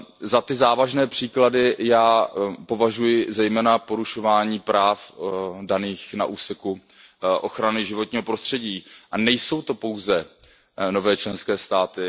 Za ty závažné příklady já považuji zejména porušování práv daných na úseku ochrany životního prostředí a nejsou to pouze nové členské státy.